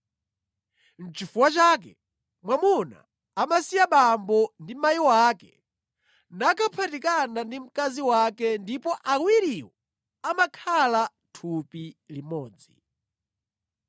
Nʼchifukwa chake, mwamuna amasiya abambo ndi amayi ake nakaphatikana ndi mkazi wake ndipo awiriwo amakhala thupi limodzi.